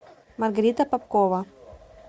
маргарита попкова